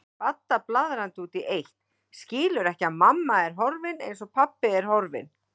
Badda blaðrandi út í eitt, skilur ekki að mamma er horfin, eins og pabbi, horfin.